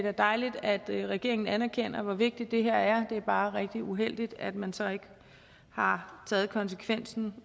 er dejligt at regeringen anerkender hvor vigtigt det her er det er bare rigtig uheldigt at man så ikke har taget konsekvensen